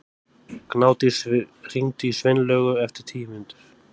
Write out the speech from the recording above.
Gnádís, hringdu í Sveinlaugu eftir tíu mínútur.